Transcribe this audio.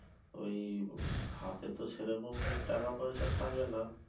ঐ হাতে তো সেরকম টাকাপয়সা থাকে না